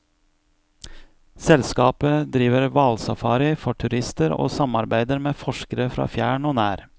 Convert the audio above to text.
Selskapet driver hvalsafari for turister og samarbeider med forskere fra fjern og nær.